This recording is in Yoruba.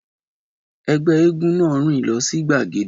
Ẹgbẹ́ éégún náà rìn lọ sí gbagede